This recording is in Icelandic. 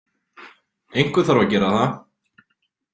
Einhver þarf að gera það.